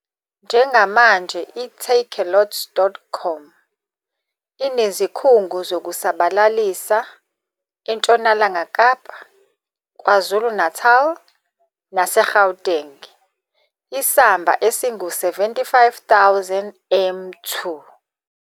Njengamanje i-Takealot.com inezikhungo zokusabalalisa eNtshonalanga Kapa, KwaZulu-Natal naseGauteng, isamba esingu-75 000 m 2.